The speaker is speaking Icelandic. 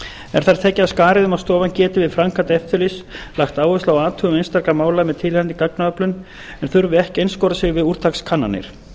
er þar tekið af skarið um að stofan geti við framkvæmd eftirlits lagt áherslu á athugun einstakra mála með tilheyrandi gagnaöflun en þurfi ekki að einskorða sig við úrtakskannanir